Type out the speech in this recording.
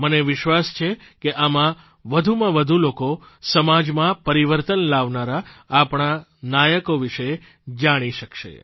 મને વિશ્વાસ છે કે આમાં વધુમાં વધુ લોકો સમાજમાં પરિવર્તન લાવનારા આપણા નાયકો વિશે જાણી શકશે